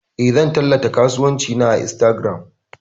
Eh, zan tallata kasuwancin na a Instagram.